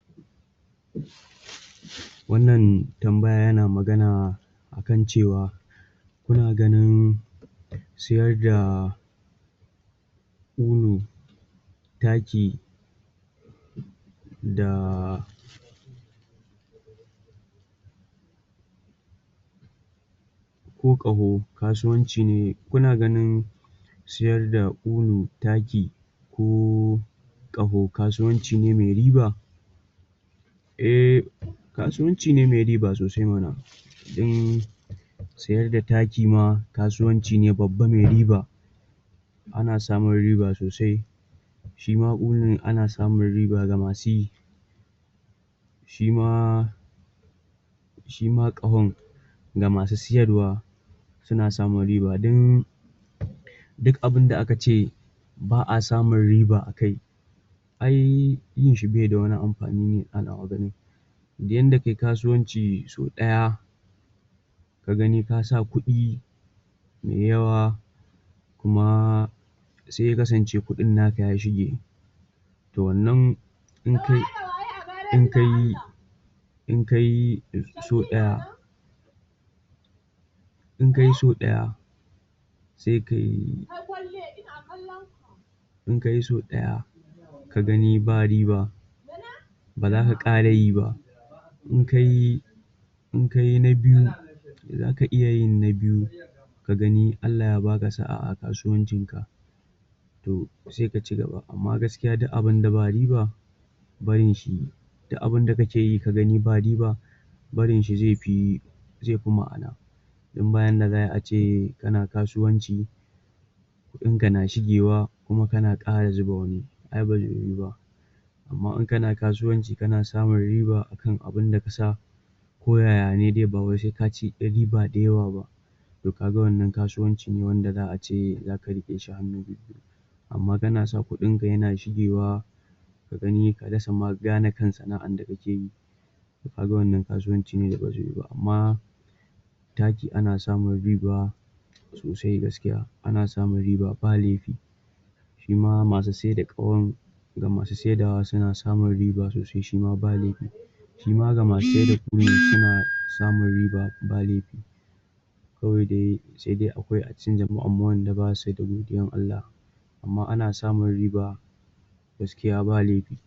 Wannan tambaya yana magana akan cewa muna ganin siyar da ƙulu taki da ko ƙaho, kasuwanci ne kuna ganin siyar da ƙulu, taki ko ƙaho kasuwanci ne me riba Eh, kasuwanci ne me riba sosai mana um siyar da taki ma kasuwanci ne babba me riba ana samun riba sosai shima ƙulun ana samun riba ga masu yi shi ma shima ƙahon ga masu siyarwa suna samun riba, don duk abinda aka ce ba a samun riba a kai ai yin shi be da wani amfani ni a nawa ganin yanda kai kasuwanci sau ɗaya ka gani ka sa kuɗi me yawa kuma se ya kasance kuɗin naka ya shige to wannan in kai(da waye da waye a gareji don Allah)in kai in kai(jamilu na nan)sau ɗaya in kai so ɗaya se kai in kai so ɗaya ka gani ba riba ba zaka ƙara yi ba in kai in kai na biyu zaka iya yin na biyu ka gani in Allah ya baka sa'a a kasuwancin ka to sai ka cigaba. Amma gaskiya duk abinda ba riba barin shi duk abinda ka keyi ka gani ba riba barin shi zai fi zai fi ma'ana don ba yanda za ai ace kana kasuwanci kuɗin ka na shigewa kuma kana ƙara zuba wani, ai bazai yiwu ba Amma in kana kasuwanci, kana samun riba akan abinda kasa ko yaya ne dai, ba wai sai kaci ƴar riba da yawa ba to kaga wannan kasuwanci ne wanda za'a ce zaka riƙe shi hannu biyu-biyu amma kana sa kuɗin ka yana shigewa ka gani, ka rasa ma gane kan sana'an da kake kaga wannan kasuwanci ne da ba zai yiwu ba, amma taki ana samun riba sosai gaskiya. Ana samun riba ba laifi shima masu sai da ƙahon ga masu saidawa ,suna samun riba sosai shima ba laifi shi ma ga masu(ring) saida ƙulun, suna samun riba ba laifi kawai dai sai dai akwai a cikin jama'ar ma akwai wanda ba su da godiyar Allah amma ana samun riba gaskiya ba laifi.